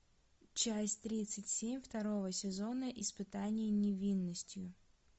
часть тридцать семь второго сезона испытание невинностью